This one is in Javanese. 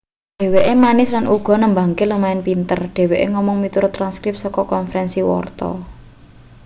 dheweke manis lan uga nembange lumayan pinter dheweke ngomong miturut transkrip saka konferensi warta